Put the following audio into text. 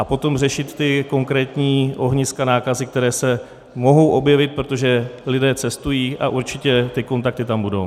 A potom řešit ta konkrétní ohniska nákazy, která se mohou objevit, protože lidé cestují a určitě ty kontakty tam budou.